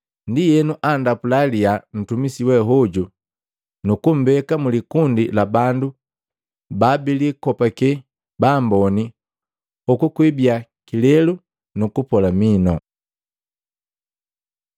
Ndienu andapula liyaa ntumisi wehoju nukumbeka mulikundi la bandu babilikopake ba amboni, hoku kwiibiya kilelu nukupola minu.